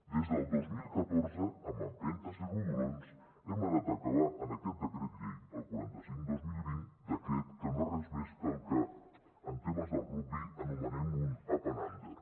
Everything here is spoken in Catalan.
des del dos mil catorze amb empentes i rodolons hem anat a acabar en aquest decret llei el quaranta cinc dos mil vint decret que no és res més que el que en temes del rugbi anomenem un up and under